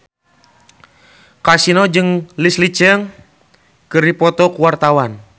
Kasino jeung Leslie Cheung keur dipoto ku wartawan